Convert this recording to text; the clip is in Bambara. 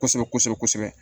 Kosɛbɛ kosɛbɛ kosɛbɛ